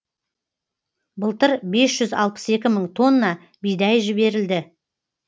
былтыр бес жүз алпыс екі мың тонна бидай жіберілді